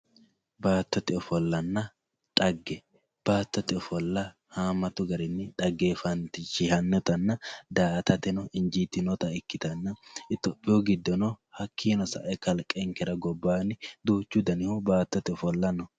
baattote ofollanna xagga baattote ofolla haammatu garinni xanggeefantannita daa''atateno injiitinota ikkitanna itiyopiyu giddono hakkiino sae kalqenkera gobbaanni duuchu dani baattote ofolla no.